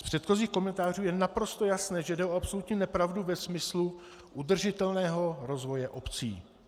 Z předchozích komentářů je naprosto jasné, že jde o absolutní nepravdu ve smyslu udržitelného rozvoje obcí.